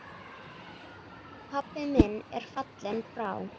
Pabbi minn er fallinn frá.